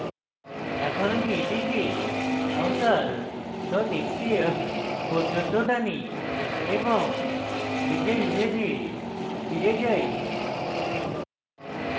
এখন আমি এটিকে avatar xcf পর্যন্ত টানি এবং নিজের image ফিরে যাই